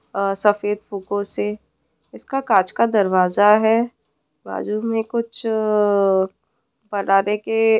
आ सफेद फुको से इसका कांच का दरवाजा है बाजू में कुछ अ अ अ बनाने के--